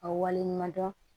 A wale ɲuman dɔn